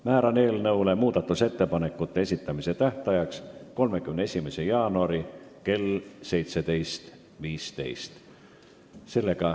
Määran muudatusettepanekute esitamise tähtajaks 31. jaanuari kell 17.15.